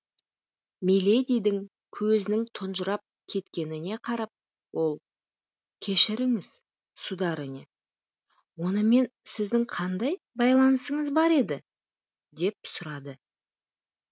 миледидің көзінің тұнжырап кеткеніне қарап ол кешіріңіз сударыня онымен сіздің қандай байланысыңыз бар еді деп сұрады